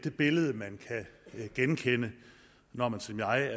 et billede man kan genkende når man som jeg